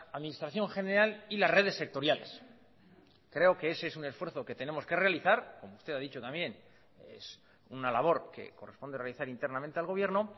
administración general y las redes sectoriales creo que ese es un esfuerzo que tenemos que realizar como usted ha dicho también es una labor que corresponde realizar internamente al gobierno